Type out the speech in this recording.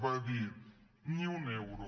va dir ni un euro